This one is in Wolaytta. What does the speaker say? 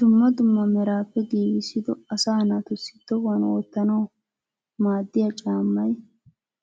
Duummaa duummaa meraappe giigisido asaa naatussi tohuwan wotanawu maaddiyaa caammay